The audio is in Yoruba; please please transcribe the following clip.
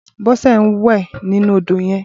Bose n wè ninú ódó yèn